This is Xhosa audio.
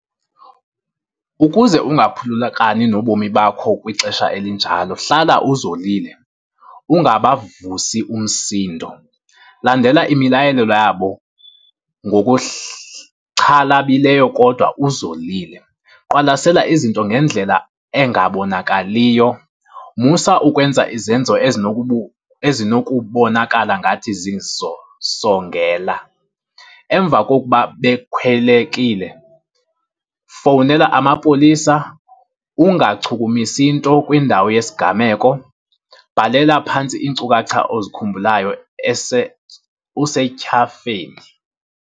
Ukuze ungaphulukani nobomi bakho kwixesha elinjalo, hlala uzolile, ungabavusi umsindo. Landela imilayelelo yabo xhalabileyo kodwa uzolile. Qwalasela izinto ngendlela engabonakaliyo, musa ukwenza izenzo ezinokubonakala ngathi zizosongela. Emva kokuba bekhwelekile, fowunela amapolisa ungachukumisi nto kwindawo yesigameko. Bhalela phantsi iinkcukacha ozikhumbulayo usetyhafeni.